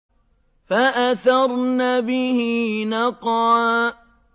فَأَثَرْنَ بِهِ نَقْعًا